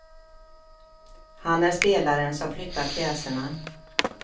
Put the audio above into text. Han är spelaren som flyttar pjäserna.